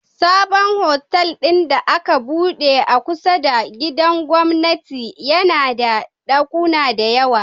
Sabon otal din da aka buɗe a kusa da gidan gwamnati yAna da dakuna da yawa